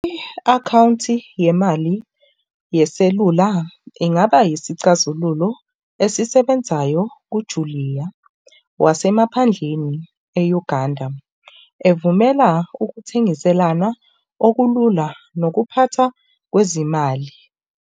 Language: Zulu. I-akhawunthi yemali yeselula ingaba yisicathulo esisebenzayo kujuliya nasemaphandleni e-Uganda. Ivumela ukuthengiselana okulula nokuphathwa kwezimali.